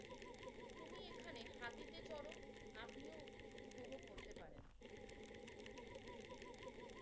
তুমি এখানে হাতিতে চড়ো। আপনিও উপভোগ করতে পারেন।